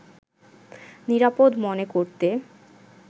নিরাপদ মনে করতে